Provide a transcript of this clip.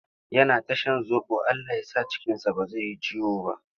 Yana ta shan zoɓo Allah ya sa cikinsa ba zai yi ciwo ba.